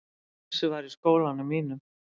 Þessi var í skólanum mínum.